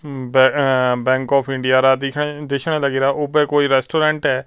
ਉਮ ah bank of India ਦਾ ਦਿਸਣ ਲੱਗਰਿਆ ਓਪੇ ਕੋਈ ਰੈਸਟੋਰੈਂਟ ਹੈ।